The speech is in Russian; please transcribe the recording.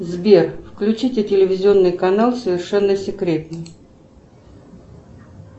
сбер включите телевизионный канал совершенно секретно